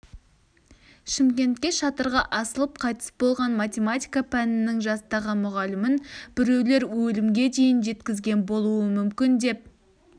шымкентте шатырға асылып қайтыс болған математика пәнінің жастағы мұғалімін біреулер өлімге дейін жеткізген болуы мүмкін деп